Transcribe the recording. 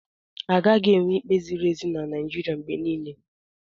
Agaghị enwe ikpe ziri ezi na Naịjirịa mgbe niile.